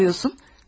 Niye soruyorsun?